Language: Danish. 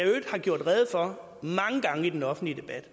øvrigt har gjort rede for mange gange i den offentlige debat